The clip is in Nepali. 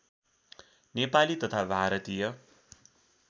नेपाली तथा भारतीय